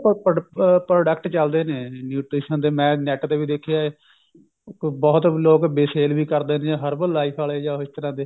ਇਹਦੇ product ਚੱਲਦੇ ਨੇ nutrition ਦੇ ਮੈਂ net ਤੇ ਵੀ ਦੇਖਿਆ ਹੈ ਬਹੁਤ ਲੋਕ sale ਵੀ ਕਰਦੇ ਨੇ herbal life ਆਲੇ ਜਾ ਇਸ ਤਰ੍ਹਾਂ ਦੇ